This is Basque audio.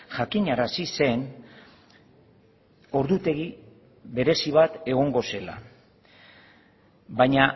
jakinarazi zen ordutegi berezi bat egongo zela baina